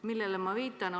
Millele ma viitan?